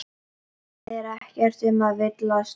Það er ekkert um að villast.